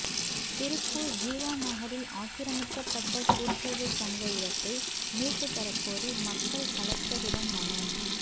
திருப்பூர் ஜீவாநகரில் ஆக்கிரமிக்கப்பட்ட கூட்டுறவு சங்க இடத்தை மீட்டு தர கோரி மக்கள் கலெக்டரிடம் மனு